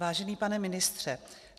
Vážený pane ministře.